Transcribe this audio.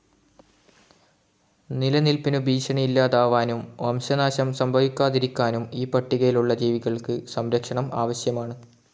നിലനിൽപ്പിനു ഭീഷണി ഇല്ലാതാവാനും വംശനാശം സംഭവിക്കാതിരിക്കാനും ഈ പട്ടികയിൽ ഉള്ള ജീവികൾക്ക് സംരക്ഷണം ആവശ്യമാണ്.